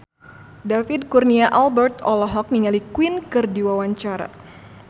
David Kurnia Albert olohok ningali Queen keur diwawancara